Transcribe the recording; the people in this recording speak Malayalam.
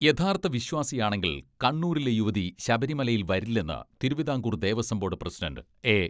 യഥാർത്ഥ വിശ്വാസിയാണെങ്കിൽ കണ്ണൂരിലെ യുവതി ശബരിമലയിൽ വരില്ലെന്ന് Travancore Devaswom board president A.